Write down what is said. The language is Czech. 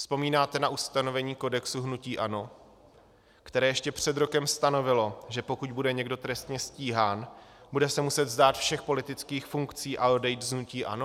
Vzpomínáte na ustanovení kodexu hnutí ANO, které ještě před rokem stanovilo, že pokud bude někdo trestně stíhán, bude se muset vzdát všech politických funkcí a odejít z hnutí ANO?